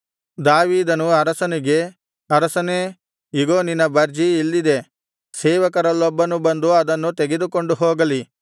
ದಾವೀದನು ಅರಸನಿಗೆ ಅರಸನೇ ಇಗೋ ನಿನ್ನ ಬರ್ಜಿ ಇಲ್ಲಿದೆ ಸೇವಕರಲ್ಲೊಬ್ಬನು ಬಂದು ಅದನ್ನು ತೆಗೆದುಕೊಂಡು ಹೋಗಲಿ